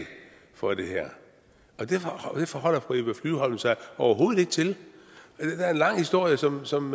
for det her det forholder fru eva flyvholm sig overhovedet ikke til det er da en lang historie som som